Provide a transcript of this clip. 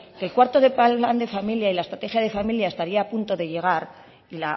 que el cuarto plan de familia y la estrategia de familia estaría a punto de llegar y